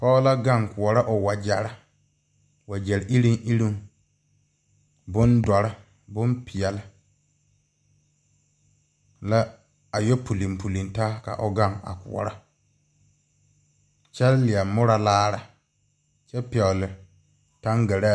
Poɔ la gang a kɔɔro ɔ wɔjeri wɔje irung irung bundɔri, bɔnpeɛle la a ye pulpulin taa ka ɔ gang a kɔɔro kye leɛ muuro laare kye pegle tangaraa.